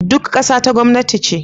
duka ƙasa ta gwamnati ne